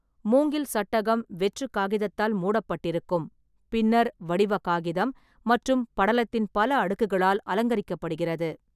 மூங்கில் சட்டகம் வெற்று காகிதத்தால் மூடப்பட்டிருக்கும், பின்னர் வடிவ காகிதம் மற்றும் படலத்தின் பல அடுக்குகளால் அலங்கரிக்கப்படுகிறது.